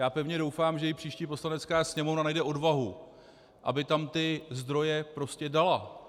Já pevně doufám, že i příští Poslanecká sněmovna najde odvahu, aby tam ty zdroje prostě dala.